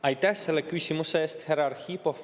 Aitäh selle küsimuse eest, härra Arhipov!